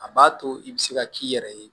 A b'a to i bɛ se ka k'i yɛrɛ ye